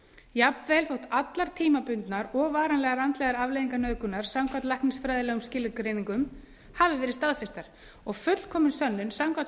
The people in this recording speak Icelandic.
jafnvel þótt allar tímabundnar og varanlegar andlegar afleiðingar nauðgunar samkvæmt læknisfræðilegum skilgreiningum hafi verið staðfestar og fullkomin sönnun samkvæmt